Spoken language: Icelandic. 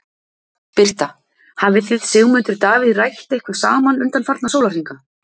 Birta: Hafið þið Sigmundur Davíð rætt eitthvað saman undanfarna sólarhringa?